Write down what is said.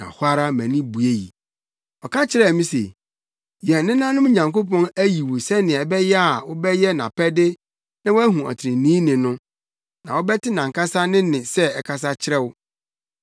“Ɔka kyerɛɛ me se, ‘Yɛn nenanom Nyankopɔn ayi wo sɛnea ɛbɛyɛ a wobɛyɛ nʼapɛde na woahu ɔtreneeni no, na wobɛte nʼankasa ne nne sɛ ɛkasa kyerɛ wo.